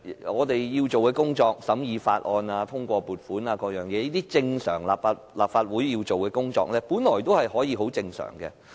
我們要做的工作，如審議法案、通過撥款等事項，這些立法會常規要做的工作，本來可以很正常地進行。